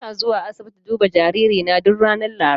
Ina zuwa asibiti duba jaririna duk ranar Laraba.